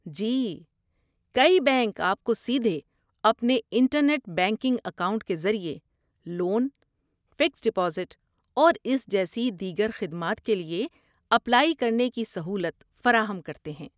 جی، کئی بینک آپ کو سیدھے اپنے انٹرنیٹ بینکنگ اکاؤنٹ کے ذریعے لون، فکسٹ ڈپوزٹ اور اس جیسی دیگر خدمات کے لیے اپلائی کرنے کی سہولت فراہم کرتے ہیں۔